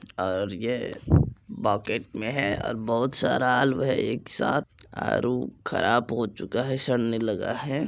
और ये बोकेट में है और बहुत सारा आलू है एक साथ आड़ू ख़राब हो चूका है सड़ने लगा है।